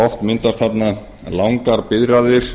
oft myndast langar biðraðir